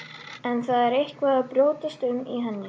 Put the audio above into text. En það er eitthvað að brjótast um í henni.